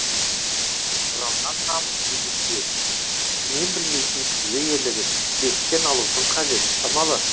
жалған намыс немесе мен білмейтін күйге елігіп беттен алудың қажеті шамалы